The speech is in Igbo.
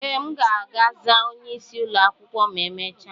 Ee, m ga-aza onye isi ụlọ akwụkwọ ma emechaa.